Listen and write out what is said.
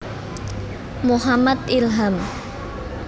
Muhammad Ilham